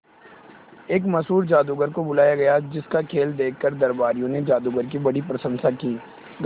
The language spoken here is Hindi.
एक मशहूर जादूगर को बुलाया गया जिस का खेल देखकर दरबारियों ने जादूगर की बड़ी प्रशंसा की